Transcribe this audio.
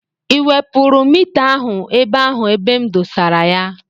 Ị wepụrụ mita ahụ ebe ahụ ebe m desara ya?